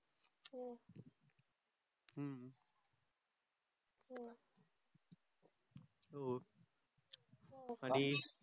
हो आनी